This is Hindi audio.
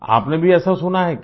आपने भी ऐसा सुना है क्या